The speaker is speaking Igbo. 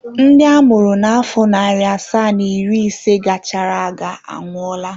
Ndị a mụrụ na afọ narị asaa na iri ise gara aga anwụọla.